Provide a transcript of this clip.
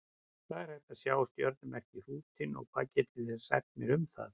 Hvar er hægt að sjá stjörnumerkið Hrútinn og hvað getið þið sagt mér um það?